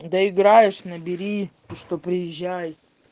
доиграешь набери что бы выезжали